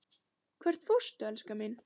Hvert fórstu, elskan mín?